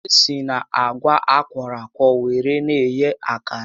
E si na àgwà a kwọrọ akwọ were eghe akara